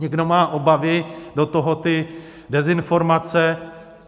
Někdo má obavy, do toho ty dezinformace.